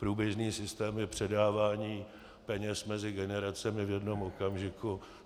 Průběžný systém je předávání peněz mezi generacemi v jednom okamžiku.